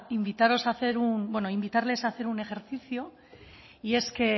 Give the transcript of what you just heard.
invitaros bueno invitarles también a hacer un ejercicio y